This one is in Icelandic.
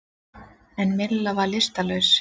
En Milla var lystarlaus.